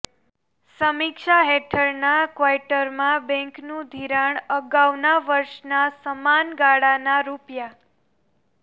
સમીક્ષા હેઠળના ક્વાર્ટરમાં બેન્કનું ધિરાણ અગાઉના વર્ષના સમાન ગાળાના રૂ